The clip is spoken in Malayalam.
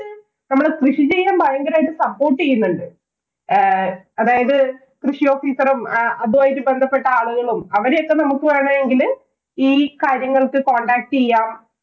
നമ്മള് കൃഷി ചെയ്യാന്‍ ഭയങ്കരായിട്ട് support ചെയ്യുന്നുണ്ട്. ആഹ് അതായത്, കൃഷി officer ഉം, അതുമായി ബന്ധപ്പെട്ട ആളുകളും അവരെയൊക്കെ നമുക്ക് വേണമെങ്കില്‍ ഈ കാര്യങ്ങള്‍ക്ക് contact ചെയ്യാം.